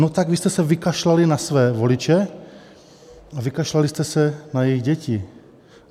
No tak vy jste se vykašlali na své voliče a vykašlali jste se na jejich děti.